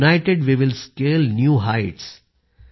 United way will scale new Heights